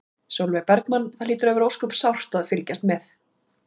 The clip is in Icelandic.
Sólveig Bergmann: Það hlýtur að vera ósköp sárt að fylgjast með?